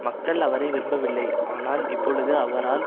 மக்கள் அவரை விரும்பவில்லை ஆனால் இப்பொழுது அவரால்